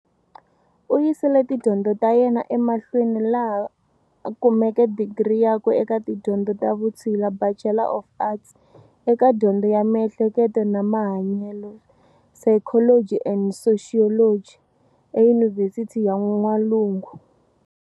U yisile tidyondzo ta yena emahlweni laha kumeke Digri yakwe eka tidyondzo ta Vutshila, Batchelor of Arts, eka Dyondzo ya mihleketo na Mahanyelo, Psychology and Sociology, eYunivhesithi ya N'walungu.